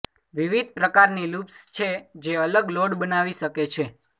વિવિધ પ્રકારની લૂપ્સ છે જે અલગ લોડ બનાવી શકે છે